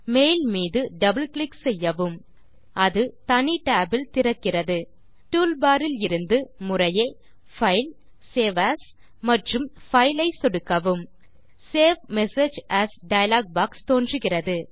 mail மீது double click செய்யவும் அது தனி tab இல் திறக்கிறது டூல்பார் இலிருந்து முறையே பைல் சேவ் ஏஎஸ் மற்றும் பைல் ஐ சொடுக்கவும் save message as dialog box தோன்றுகிறது